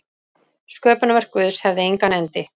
Sköpunarverk Guðs hefði engan endi.